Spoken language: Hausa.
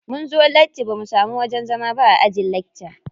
Munzo latti bamu samu wajen zama ba a ajin lakca.